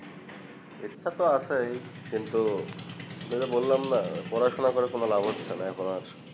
ইচ্ছা তো আছেই কিন্তু ঐ যে বল্লামনা পড়াশোনা করে কোন লাভ হচ্ছেনা এখন আর